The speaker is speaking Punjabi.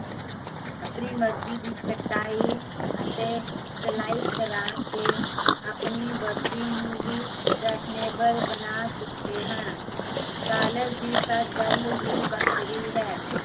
ਆਪਣੀ ਮਰਜ਼ੀ ਦੀ ਕਟਾਈ, ਅਤੇ ਸਿਲਾਈ ਕਰਾਕੇ, ਆਪਣੀ ਵਰਦੀ ਨੂੰ ਵੀ ਬਣਾ ਚੁੱਕੇ ਹਨ ਕਾਲਜ ਦੀ ਤਾਂ ਗੱਲ ਹੀਂ ਵੱਖਰੀ ਹੈ